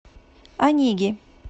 онеги